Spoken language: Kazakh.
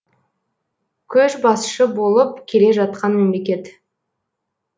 көшбасшы болып келе жатқан мемлекет